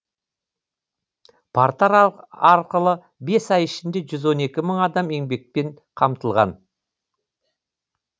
портал арқылы бес ай ішінде жүз он екі мың адам еңбекпен қамтылған